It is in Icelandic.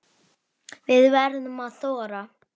Við verðum að þora.